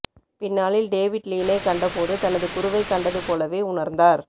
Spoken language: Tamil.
பின்னாளில் டேவிட் லீனை கண்ட போது தனது குருவைக் கண்டது போலவே உணர்ந்தார்